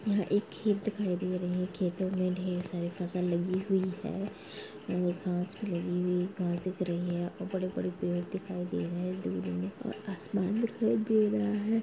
यह एक खेत दिखाई दे रहे है खेतों मे ढेर सारी फसल लगी हुई है और घास भी लगी हुई घर दिख रही है और बड़े-बड़े पेड़ दिखाई दे रहे है और आसमान दिखाई रहा है।